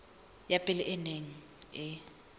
ya pele e neng e